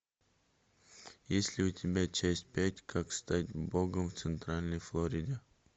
есть ли у тебя часть пять как стать богом в центральной флориде